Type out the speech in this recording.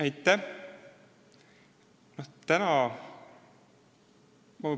Aitäh!